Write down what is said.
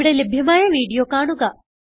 ഇവിടെ ലഭ്യമായ വീഡിയോ കാണുക